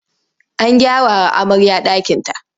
An gyarawa amarya ɗakinta.